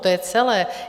To je celé.